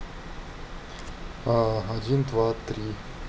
один два три